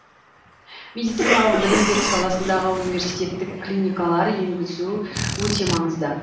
медициналық білім беру саласындағы университеттік клиникалар енгізу өте маңызды